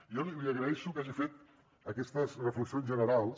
jo li agraeixo que hagi fet aquestes reflexions generals